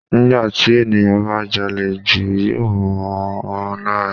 Nígbà tí ènìyàn bá jalè jù yóò mọ́ on lára.